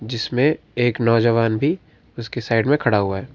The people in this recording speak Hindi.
जिसमें एक नौजवान भी उसके साइड में खड़ा हुआ है।